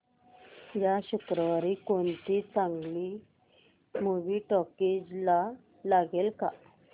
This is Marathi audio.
या शुक्रवारी कोणती चांगली मूवी टॉकीझ ला लागेल का